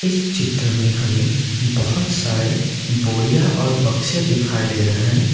चित्र में हमें बहुत सारे बोड़िया और बक्से दिखाई दे रहा है।